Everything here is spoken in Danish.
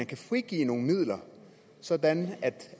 kan frigive nogle midler sådan at